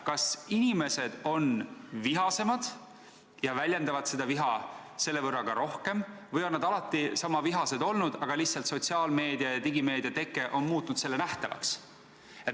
Kas inimesed on vihasemad ja väljendavad viha selle võrra rohkem või on nad alati niisama vihased olnud, aga lihtsalt sotsiaalmeedia ja digimeedia on muutnud selle nähtavaks?